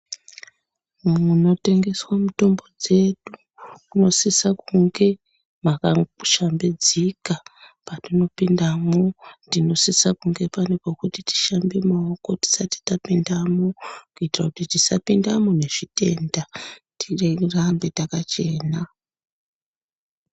Munotengeswa mitombo dzedu, kunosisa kunge makashambidzika. Patinopindamwo, tinosisa kunge pane pekushambe maoko tisati tapindemo, kuitira kuti tisapindamo nezvitenda tirambe takachena.